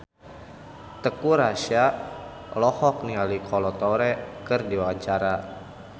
Teuku Rassya olohok ningali Kolo Taure keur diwawancara